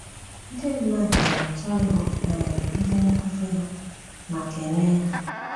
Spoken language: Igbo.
Ndị mmadụ na - achọ́ ịhụ um ndị nkụ́zi ha, ma kelée ha. ”